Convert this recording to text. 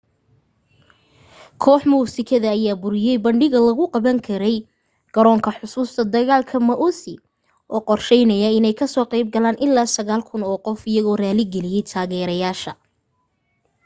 koox muusikada ayaa buriyay bandhigga lagu qaban rabay garoonka xusuusta dagaalka maui oo qorsheysnaa inay kasoo qayb galaan ilaa 9,000 oo qof iyagoo raali galiyay taageereyaasha